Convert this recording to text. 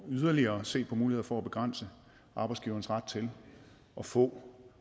yderligere at se på muligheder for at begrænse arbejdsgiverens ret til at få